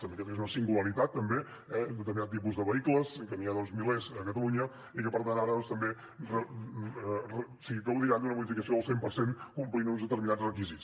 també aquesta és una singularitat un determinat tipus de vehicles que n’hi ha milers a catalunya i que per tant ara també gaudiran d’una bonificació del cent per cent si compleixen uns determinats requisits